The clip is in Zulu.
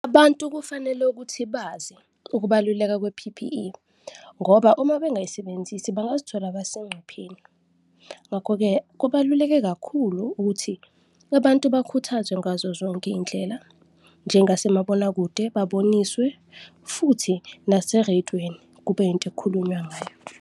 Abantu kufanele ukuthi bazi ukubaluleka kwe-P_P_E ngoba uma bengayisebenzisi bangazithola basegcupheni. Ngakho-ke kubaluleke kakhulu ukuthi abantu bakhuthazwe ngazo zonke izindlela njengasemabonakude, baboniswe futhi nasereyidweni kube yinto ekukhulunywa ngayo.